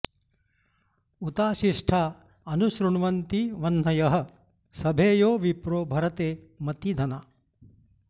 उताशिष्ठा अनु शृण्वन्ति वह्नयः सभेयो विप्रो भरते मती धना